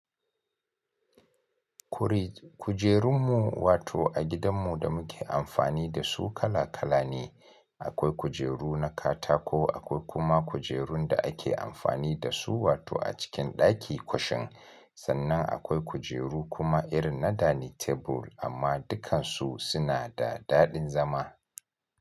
Kuri kujerunmu wato a gidanmu da muke amfani da su kala kala ne. Akwai kujeru na katako, akwai kuma kujerun da ake amfani da su wato a cikin ɗaki kwashen. Sannan akwai kujeru kuma irin na dining table amma dukkansu suna da daɗin zama.